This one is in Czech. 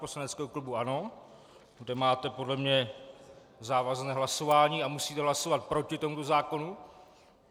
- poslaneckého klubu ANO, kde máte podle mě závazné hlasování a musíte hlasovat proti tomuto zákonu.